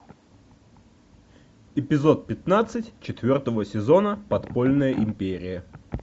эпизод пятнадцать четвертого сезона подпольная империя